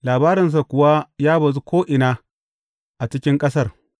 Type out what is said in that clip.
Labarinsa kuwa ya bazu ko’ina a cikin ƙasar.